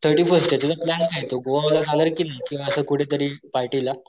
thirty first आहे त्याचा plan आहे तो गोवाकिंवा असं कुठे तरी पार्टी ला,